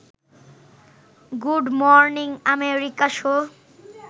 good morning America show